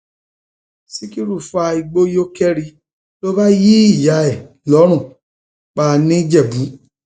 síkírù fa igbó yó kẹri ló bá yin ìyá ẹ lọrùn pa nìjẹbù